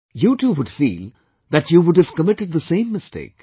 You too would feel that, you would've committed the same mistake